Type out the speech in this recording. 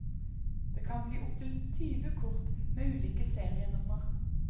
Det kan bli opptil tyve kort, med ulike serienummer.